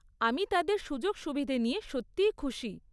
আমি তাদের সুযোগ সুবিধে নিয়ে সত্যিই খুশি।